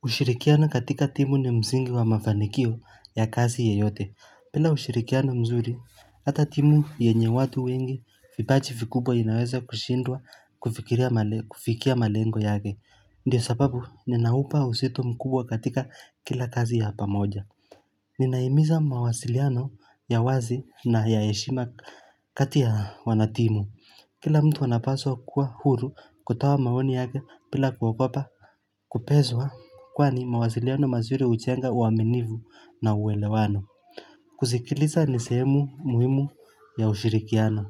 Kushirikiana katika timu ni mzingi wa mafanikio ya kazi yeyote bila ushirikiano mzuri Hata timu yenye watu wengi vipaji vikubwa inaweza kushindwa kufikia malengo yake ndio sababu ninaupa uzito mkubwa katika kila kazi ya pamoja Ninahimiza mawasiliano ya wazi na ya yeshima kati ya wanatimu kila mtu anapaswa kuwa huru kutoa maoni yake pila kuogopa Kupeswa kwani mawasiliano mazuri hujenga uaminifu na uelewano kusikiliza ni sehemu muhimu ya ushirikiano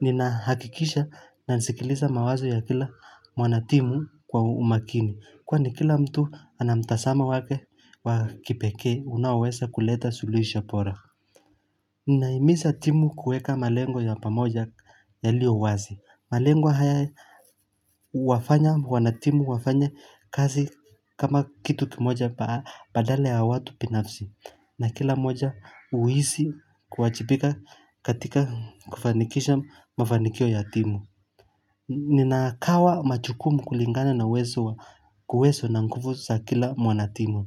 Ninahakikisha nasikiliza mawazo ya kila wanatimu kwa umakini Kwani kila mtu anamtazamo wake wa kipekee unaoweza kuleta sulihisho bora Ninahimiza timu kueka malengo ya pamoja ya iliyo wazi malengo haya huwafanya wanatimu wafanye kazi kama kitu kimoja badala ya watu binafsi na kila moja huhisi kuajibika katika kufanikisha mafanikio ya timu Ninakawa majukumu kulingana na uwezo na nguvu sa kila wanatimu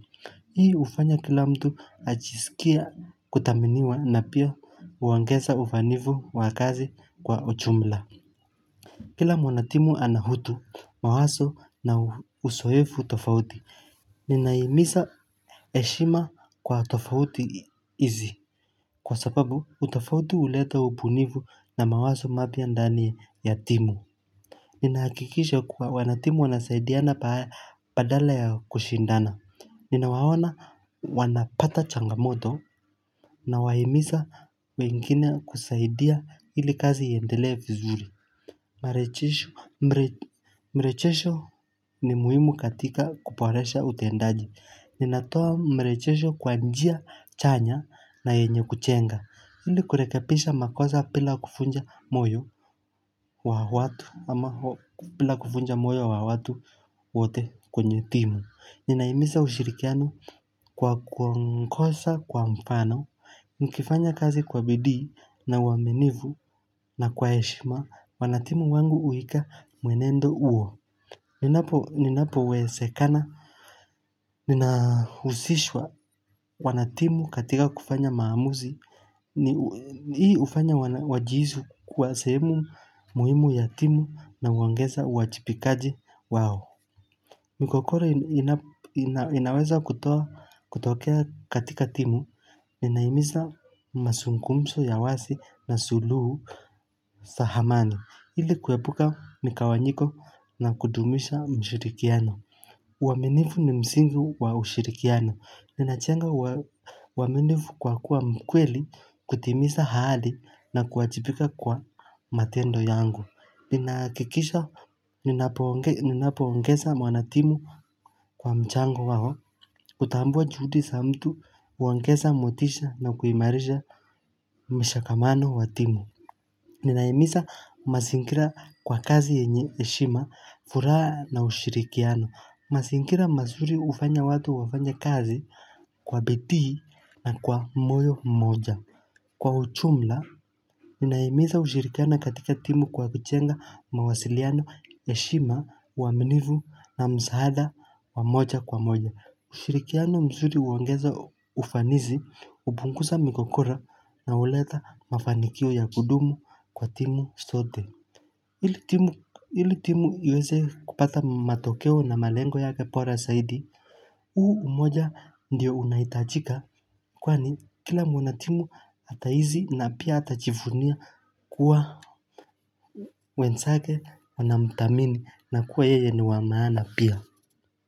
Hii hufanya kila mtu ajisikie kuthaminiwa na pia huongeza ufanivu wa kazi kwa ujumla Kila mwanatimu ana utu mawazo na uzoefu tofauti, ninahimiza heshima kwa tofauti hizi, kwa sababu utofauti huleta ubunivu na mawazo mapya ndani ya timu. Ninahakikisha kuwa wanatimu wanasaidiana badala ya kushindana. Ninawaona wanapata changamoto. Nawahimiza wengine kusaidia ili kazi iendelea vizuri. Marejesho mbre. Mrejesho ni muhimu katika kuboresha utendaji Ninatoa mrejesho kwa njia chanya na yenye kujenga ili kurekebisha makosa bila kuvunja moyo wa watu ama bila kuvunja moyo wa watu wote kwenye timu Ninahimiza ushirikiano kwa kwa mkosa kwa mfano Nikifanya kazi kwa bidii na uaminivu na kwa heshima wanatimu wangu uika mwenendo huo Ninapo wezekana, ninahusishwa wanatimu katika kufanya maamuzi Hii hufanya wajihisi kuwa sehemu muhimu ya timu na huongeza uajipikaji wao migogoro inaweza kutoa kutokea katika timu Ninahimiza mazungumzo ya wazi na suluhu sahamani ili kuepuka mgawanyiko na kudumisha mshirikiano uaminifu ni msingi wa ushirikiano. Ninajenga uaminifu kwa kuwa mkweli, kutimiza hali na kuajipika kwa matendo yangu. Ninahakikisha ninapoongeza wanatimu kwa mchango wao. Kutambua juhudi za mtu, huongeza motisha na kuimarisha mshikamano wa timu. Ninahimiza mazingira kwa kazi yenye heshima, furaha na ushirikiano. Mazingira mazuri hufanya watu wafanye kazi kwa bidii na kwa moyo mmoja. Kwa ujumla, ninahimiza ushirikiano katika timu kwa kujenga mawasiliano, heshima, uaminivu na msaada wa moja kwa moja. Ushirikiano mzuri huongeza ufanizi, hupunguza migogoro na huleta mafanikio ya kudumu kwa timu zote ili timu iweze kupata matokeo na malengo yake bora zaidi huu umoja ndiyo unaitajika kwani kila mwana timu atahisi na pia atajifunia kuwa wenzake wanamthamini na kuwa yeye ni wa maana pia.